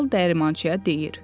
Kral dəyirmançıya deyir: